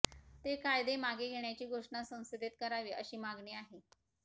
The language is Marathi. ते कायदे मागे घेण्याची घोषणा संसदेत करावी अशी मागणी आहे